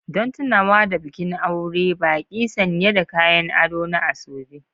Don tunawa da bikin aure, baƙi sanye da kayan ado na asoebi.